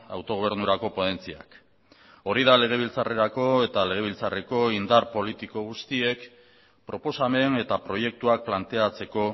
autogobernurako ponentziak hori da legebiltzarrerako eta legebiltzarreko indar politiko guztiek proposamen eta proiektuak planteatzeko